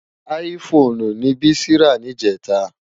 Áyì Fónú ni Bisi rá nijètá